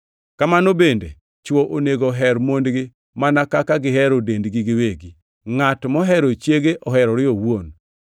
Kamano bende, chwo onego oher mondgi mana kaka gihero dendgi giwegi. Ngʼat mohero chiege oherore owuon.